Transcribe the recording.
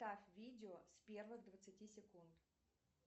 поставь видео с первых двадцати секунд